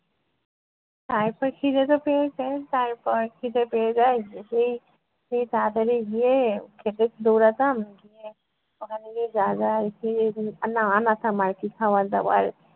তারপর খিদে তো পেয়েছে তারপর খিদে পেয়ে যায় সেই সেই তাড়াতাড়ি গিয়ে খেতে দৌড়াতাম গিয়ে ওখানে গিয়ে না আনাতাম আর কী খাবার দাবার।